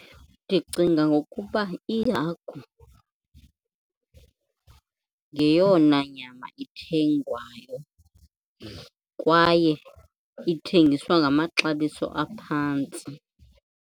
Ndicinga ngokuba ihagu yeyona nyama ithengwayo kwaye ithengiswa ngamaxabiso aphantsi.